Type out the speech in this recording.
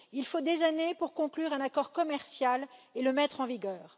Il faut des années pour conclure un accord commercial et le mettre en vigueur.